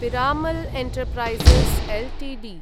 Piramal Enterprises Ltd